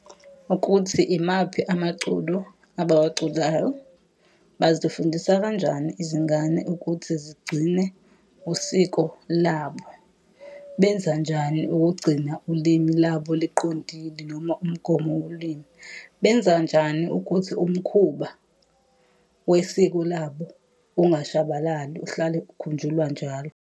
Ukuthi imaphi amaculo abawaculayo. Bazifundisa kanjani izingane ukuthi zigcine usiko labo? Benza njani ukugcina ulimi labo liqondise noma umgomo wolimi? Benza njani ukuthi umkhuba wesiko labo ungashabalali uhlale ukhunjulwa njalo.